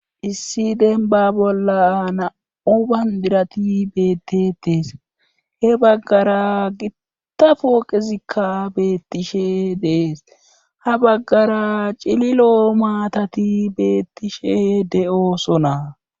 Issi denba bolla na7u bandirati beettetees he baggara gitta fooqezikka beettishe dees ha baggara cililo maatati beettishe de7osonaa.